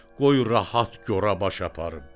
Qoy rahat gora baş aparım.